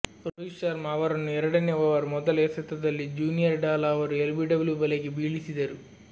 ರೋಹಿತ್ ಶರ್ಮಾ ಅವರನ್ನು ಎರಡನೇ ಓವರ್ನ ಮೊದಲ ಎಸೆತದಲ್ಲಿ ಜೂನಿಯರ್ ಡಾಲಾ ಅವರು ಎಲ್ಬಿಡಬ್ಲು ಬಲೆಗೆ ಬೀಳಿಸಿದರು